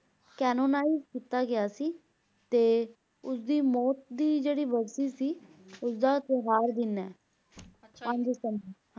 canonise ਕੀਤਾ ਗਿਆ ਸੀ ਤੇ ਉਸਦੀ ਮੌਤ ਦੀ ਜਿਹੜੀ ਸੀ ਉਸਦਾ ਹੈ